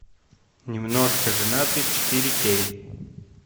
немножко женаты четыре кей